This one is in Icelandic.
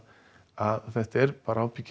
að þetta er